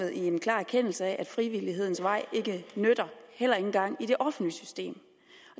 i en klar erkendelse af at frivillighedens vej ikke nytter heller ikke engang i det offentlige system